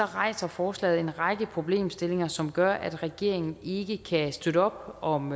rejser forslaget en række problemstillinger som gør at regeringen ikke kan støtte op om